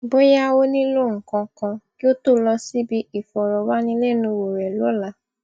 bóyá ó nílò nǹkan kan kí ó tó lọ síbi ìfòròwánilénuwò rẹ lóla